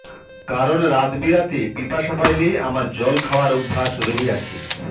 কারণ রাতবিরাতে পিপাসা পাইলে আমার জল খাওয়ার অভ্যাস রহিয়াছে